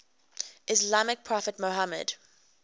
islamic prophet muhammad